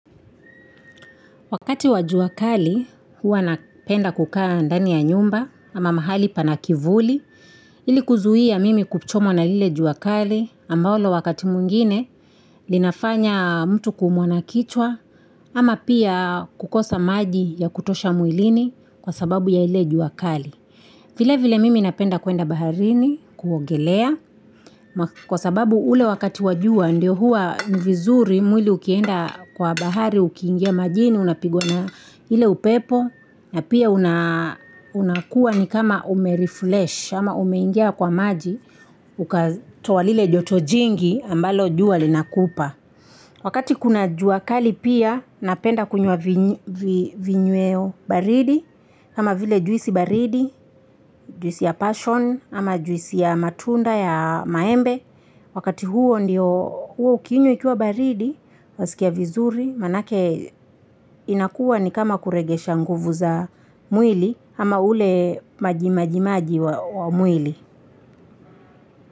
Wakati wajua kali, huwa napenda kukaa ndani ya nyumba ama mahali panakivuli, ilikuzuia mimi kuchomwa na lile juakali ambalo wakati mwingine linafanya mtu kuumwa na kichwa ama pia kukosa maji ya kutosha mwilini kwa sababu ya ile juakali vile vile mimi napenda kuenda baharini, kuogelea, kwa sababu ule wakati wajua ndio huwa ni vizuri mwili uki enda kwa bahari, uki ingia majini, unapigwa na ile upepo, na pia unakuwa ni kama ume refresh ama ume ingia kwa maji uka toa lile joto jingi ambalo jua lina kupa. Wakati kuna juakali pia, napenda kunywa vinyweo baridi, kama vile juisi baridi juisi ya passion ama juisi ya matunda ya maembe, wakati huu ndio ukiinywa ikiwa baridi, wasikia vizuri, manake inakuwa ni kama kuregesha nguvu za mwili ama ule maji maji maji wa mwili.